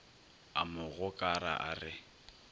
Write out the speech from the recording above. a mo gokara a re